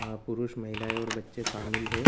यहाँ पुरुष महिलाएं और बच्चे शामिल हैं।